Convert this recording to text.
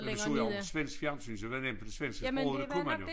Men du så jo også svensk fjernsyn så det var nemt med det svenske sprog for det kunne man jo